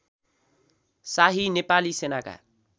शाही नेपाली सेनाका